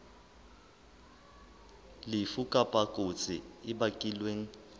lefu kapa kotsi e bakilweng